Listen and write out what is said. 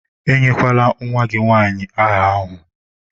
Enyekwala nwa gị nwanyị áhà ahụ!